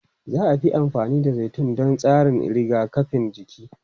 Za a fi amfani da zaitun don tsarin rigakafin jiki.